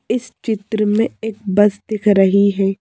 इस चित्र में एक बस दिख रही है।